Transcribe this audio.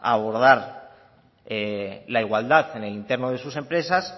a abordar la igualdad en el entorno de sus empresas